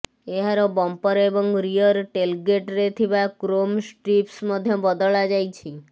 ଏହାର ବମ୍ପର ଏବଂ rear tailgate ରେ ଥିବା କ୍ରୋମ୍ ଷ୍ଟ୍ରିପ୍ସ ମଧ୍ୟ ବଦଳାଯାଇଛି